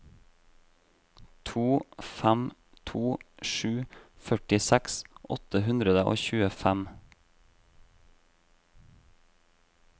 to fem to sju førtiseks åtte hundre og tjuefem